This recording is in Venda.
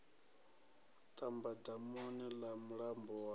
ṱamba damuni ḽa mulambo wa